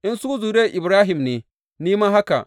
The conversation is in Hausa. In su zuriyar Ibrahim ne, ni ma haka.